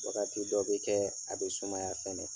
Wagati dɔ bɛ kɛ a bɛ sumaya fɛnɛ.